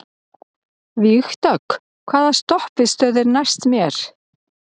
Vígdögg, hvaða stoppistöð er næst mér?